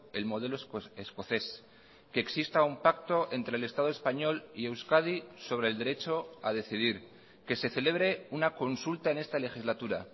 el modelo escocés que exista un pacto entre el estado español y euskadi sobre el derecho a decidir que se celebre una consulta en esta legislatura